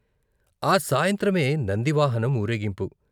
ఆ సాయంత్రమే నంది వాహనం ఊరేగింపు.